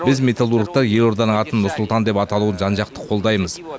біз металлургтар елорданың атын нұр сұлтан деп аталуын жан жақты қолдаймыз